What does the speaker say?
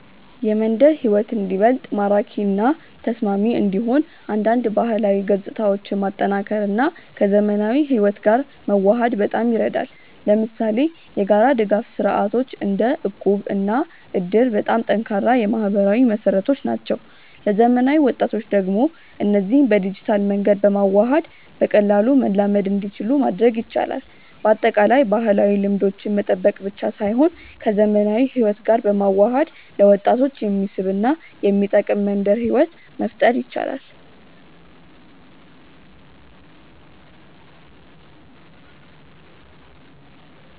የመንደር ሕይወት እንዲበልጥ ማራኪ እና ተስማሚ እንዲሆን አንዳንድ ባህላዊ ገጽታዎችን ማጠናከር እና ከዘመናዊ ሕይወት ጋር መዋሃድ በጣም ይረዳል። ለምሳሌ የጋራ ድጋፍ ስርዓቶች እንደ እቁብ እና እድር በጣም ጠንካራ የማህበራዊ መሰረቶች ናቸው። ለዘመናዊ ወጣቶች ደግሞ እነዚህን በዲጂታል መንገድ በማዋሃድ በቀላሉ መላመድ እንዲችሉ ማድረግ ይቻላል። በአጠቃላይ፣ ባህላዊ ልምዶችን መጠበቅ ብቻ ሳይሆን ከዘመናዊ ሕይወት ጋር በመዋሃድ ለወጣቶች የሚስብ እና የሚጠቅም መንደር ሕይወት መፍጠር ይቻላል።